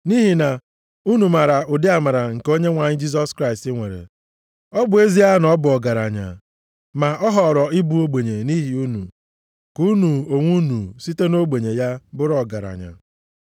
Nʼihi na unu maara ụdị amara nke Onyenwe anyị Jisọs Kraịst nwere. Ọ bụ ezie na ọ bụ ọgaranya, ma ọ họọrọ ịbụ ogbenye nʼihi unu, ka unu onwe unu site nʼogbenye ya bụrụ ọgaranya.